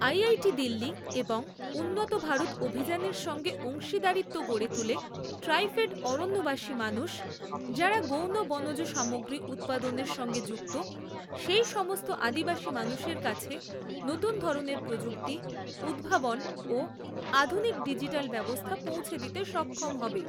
IIT Delhi এবং উন্নত ভারত অভিযানের সঙ্গে অংশীদারিত্ব গড়ে তুলে ট্রাইফেড অরণ্যবাসী মানুষ, যাঁরা গৌণ বনজ সামগ্রী উৎপাদনের সঙ্গে যুক্ত সেই সমস্ত আদিবাসী মানুষের কাছে নতুন ধরনের প্রযুক্তি, উদ্ভাবন ও আধুনিক ডিজিটাল ব্যবস্থা পৌঁছে দিতে সক্ষম হবে।